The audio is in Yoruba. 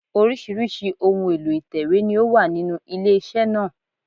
Oríṣìíríṣìí ohun èlò ìtẹ̀wé ni ó wà nínú ilé iṣẹ́ náà